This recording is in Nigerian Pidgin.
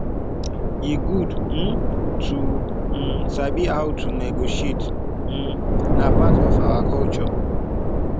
e good um to um sabi how to negotiate um na part of our culture